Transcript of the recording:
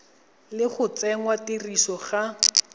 le go tsenngwa tirisong ga